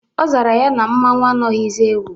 Ọ zara ya na mmanwụ anaghizi ewu.